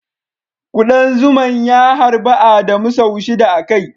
Kudan zuman ya harbi Adamu sau shida a kai.